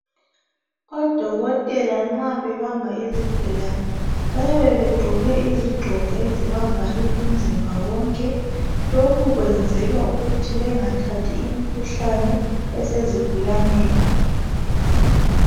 Odokotela nxa bebamba izigulane bayabe begqoke izigqoko ezibavale umzimba wonke. Lokhu kwenzelwa ukuthi bengathathi imikhuhlane esezigulaneni.